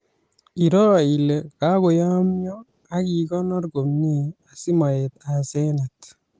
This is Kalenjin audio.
Iroo ile kayomyo akikonor komye asimaet asenet